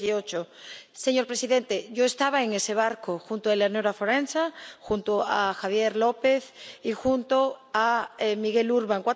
2018? Señor presidente, yo estaba en ese barco, junto a Eleonora Forenza, junto a Javier López y junto a Miguel Urbán.